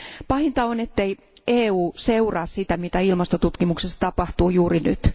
Pahinta on, ettei EU seuraa sitä, mitä ilmastotutkimuksessa tapahtuu juuri nyt.